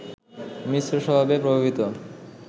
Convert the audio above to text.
মিশ্র স্বভাবে প্রভাবিত